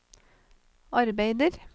arbeider